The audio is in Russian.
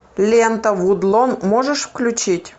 лента вудлон можешь включить